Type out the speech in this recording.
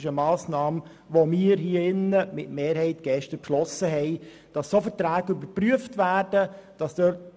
Diese Massnahme von Madeleine Amstutz haben wir gestern hier im Rat mit einer Mehrheit beschlossen.